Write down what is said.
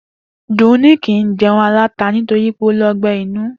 Dùnní kì í je̩un aláta nitori pé ó ní o̩gbé̩ inú